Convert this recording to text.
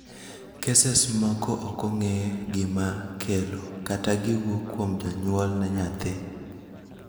keses moko ok ong'ee gimaakelo, kata giwuok kuom janyuol ne nyathi